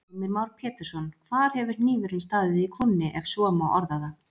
Heimir Már Pétursson: Hvar hefur hnífurinn staðið í kúnni, ef svo má orða það?